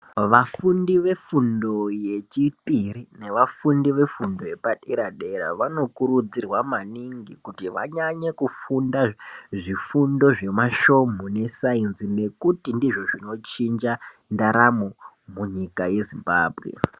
Vafundi vefundo yechipiri nevafundi vafundo yepadera-dera, vanokurudzirwa maningi kuti vanyanye kufunda zvifundo zvemashomhu nesainzi nekuti ndizvo zvinochinja ndaramo munyika yeZimbabwe.